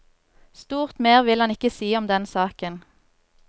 Stort mer vil han ikke si om den saken.